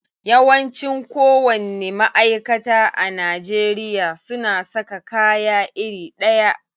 Yawanci kowanni ma'aikata a Najeriya suna saka kaya iri ɗaya.